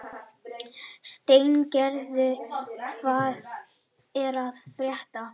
Steingerður, hvað er að frétta?